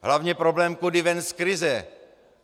Hlavně problém kudy ven z krize.